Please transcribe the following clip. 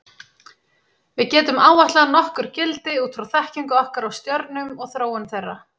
Við getum áætlað nokkur gildi út frá þekkingu okkar á stjörnum og þróun þeirra.